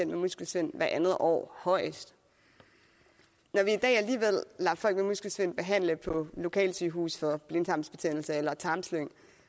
med muskelsvind hvert andet år højst når vi i dag alligevel lader folk med muskelsvind behandle på lokalsygehuse for blindtarmsbetændelse eller tarmslyng